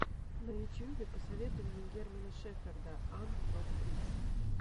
на ютьюбе посоветуй мне германа шеферда анд дог бридс